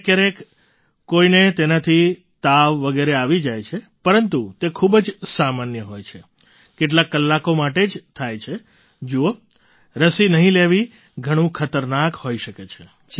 ક્યારેક ક્યારેક કોઈને તેનાથી તાવ વગેરે આવી જાય છે પરંતુ તે ખૂબ જ સામાન્ય હોય છે કેટલાક કલાકો માટે જ થાય છે જુઓ રસી નહીં લેવી ઘણું ખતરનાક હોઈ શકે છે